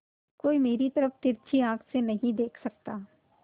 कोई मेरी तरफ तिरछी आँख से नहीं देख सकता